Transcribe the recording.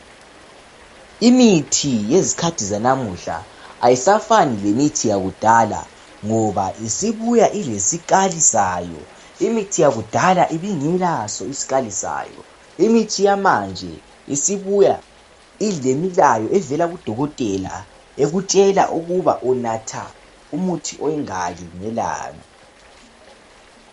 Imithi yezikhathi zanamuhla ayisafani lemithi yakudala ngoba isibuya ilesikali Sayo imithi yakudala ibingelaso isikali sayo imithi yamanje isibuya ilemilayo evela kudokotela ekutshela ukuba unatha umuthi onganani ngelanga